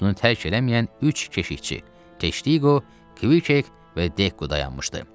Bunu tərk eləməyən üç keşikçi: Teştiqo, Kviçek və Dekko dayanmışdı.